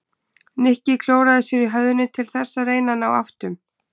Nikki klóraði sér í höfðinu til þess að reyna að ná áttum.